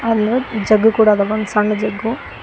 ಅಲ್ ಒಂದ ಜಗ್ಗ ಕೂಡ ಅದ ಒಂದ ಸಣ್ ಜಗ್ಗು--